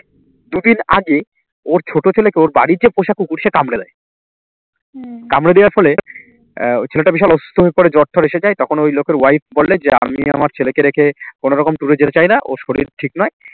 দুদিন আগে ওর ছোট ছেলে কে ওর বাড়ির যে পোষা কুকুর সে কামড়ে দেয় কামড়ে দেওয়ার ফলে আহ ছেলেটা বিশাল অসুস্থ হয়ে পড়ে জ্বর টর এসে যায় তখন ওই লোকের wife বললেন যে আমি আমার ছেলেকে রেখে কোন রকম tour এ যেতে চাই না ওর শরীর ঠিক নয়